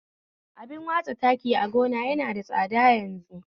Abin watsa taki a gona yana da tsada yanzu